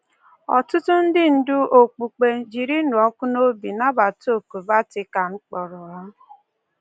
Ọtụtụ ndị ndú okpukpe jiri ịnụ ọkụ n’obi nabata òkù Vatican kpọrọ ha